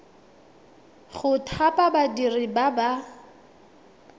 go thapa badiri ba ba